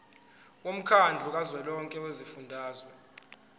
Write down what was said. womkhandlu kazwelonke wezifundazwe